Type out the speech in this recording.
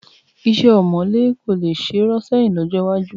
Iṣẹ́ ọ̀mọ̀lé kò ṣe é rọ́ sẹ́yìn lọ́jọ́ iwájú